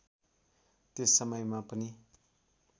त्यस समयमा पनि